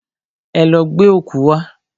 Ẹ lọ gbẹ́ ọ̀kú wá!